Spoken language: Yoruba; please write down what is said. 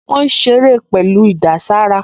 Wọ́n ń ṣeré pẹ̀lú ìdàsára